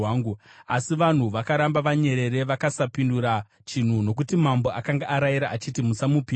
Asi vanhu vakaramba vanyerere, vakasapindura chinhu, nokuti mambo akanga arayira achiti, “Musamupindura.”